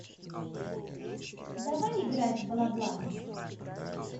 давай играть в бла бла